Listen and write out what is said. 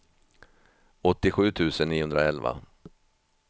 åttiosju tusen niohundraelva